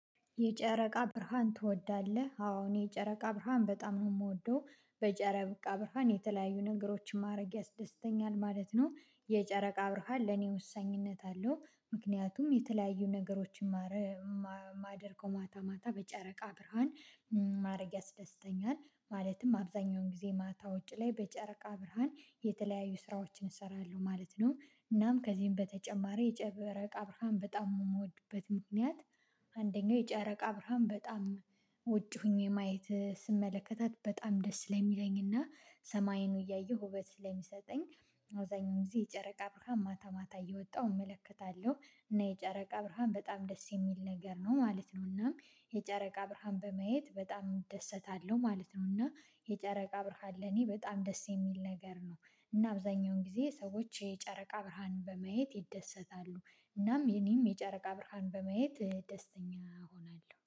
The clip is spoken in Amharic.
የጨረቃ ብርሃን ትወዳለህ? አዎ እኔ የጨረቃ ብርሃን በጣም ነው የምወደው በጨረቃ ብርሃን የተለያዩ ነገሮችን ማድረግ ያስደስተኛል ማለት ነው። የጨረቃ ብርሃን ለኔ ወሳኝነት አለው ምክንያቱም የተለያዩ ነገሮችን ማደርገው ማታ ማታ በጨረቃ ብርሃን ማድረግ ያስደስተኛል ማለትም አብዛኛውን ጊዜ ማታ ውጪ ላይ በጨረቃ ብርሃን የተለያዩ ስራዎችን እሰራለሁ ማለት ነው። እናም ከዚህም በተጨማሪ የጨረቃ ብርሃን በጣም የምወድበት ምክንያት አንደኛው የጨረቃ ብርሃን በጣም ውጪ ሆኜ ማየት ስመለከታት በጣም ደስ ስለሚለኝና ሰማይን እያየሁ ውበት ስለሚሰጠኝ። አውዛኛው ጊዜ የጨረቃ ብርሃን ማታ ማታ እየወጣሁ እመለከታለሁ እና የጨረቃ ብርሃን በጣም ደስ የሚል ነገር ነው ማለት ነው። እናም የጨረቃ ብርሃን በማየት በጣም እደሰታለሁ ማለት ነው። እና የጨረቃ ብርሃን ለኔ በጣም ደስ የሚል ነገር ነው። እና አብዛኛውን ጊዜ ሰዎች የጨረቃ ብርሃንን በማየት ይደሰታሉ እናም የኔም የጨረቃ ብርሃን በማየት ደስተኛ እሆናለሁ